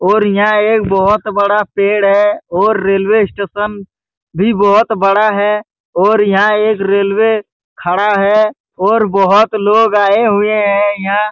और यहाँ एक बहुत बड़ा पेड़ है और रेलवे स्टेशन भी बहुत बड़ा है और यहाँ एक रेलवे खड़ा है और बहुत लोग आए हुए है यहाँ --